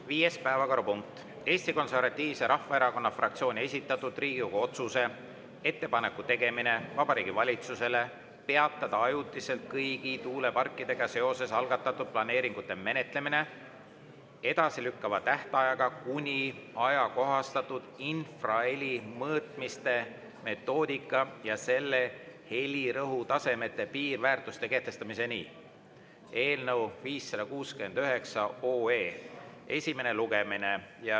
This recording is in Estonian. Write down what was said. Viies päevakorrapunkt: Eesti Konservatiivse Rahvaerakonna fraktsiooni esitatud Riigikogu otsuse "Ettepaneku tegemine Vabariigi Valitsusele peatada ajutiselt kõigi tuuleparkidega seoses algatatud planeeringute menetlemine, edasilükkava tähtajaga kuni ajakohastatud infraheli mõõtmiste metoodika ja selle helirõhutasemete piirväärtuste kehtestamiseni" eelnõu 569 esimene lugemine.